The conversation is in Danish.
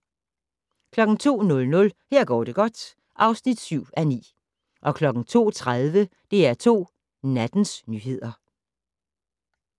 02:00: Her går det godt (7:9) 02:30: DR2 Nattens nyheder